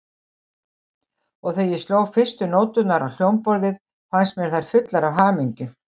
Og þegar ég sló fyrstu nóturnar á hljómborðið, fannst mér þær fullar af hamingju.